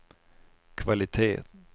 kvalitet